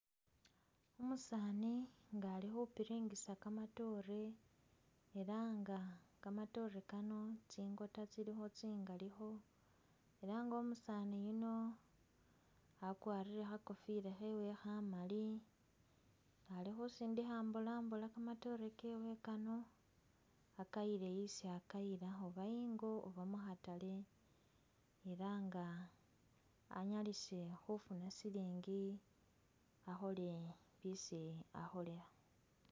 Umusani nga alikhupiringisa kamatoore elah nga kamatoore Kano tsingota tsilikho tsingalikho nenga umusani yuuno wakwarile kha'kofila khewe khamali ali khusindikha ambola mbola kamatoore kewe Kano akayile isi akayila oba ingo oba mu'khataale elah nga anyalise khufuna silingi akholele bisi akholela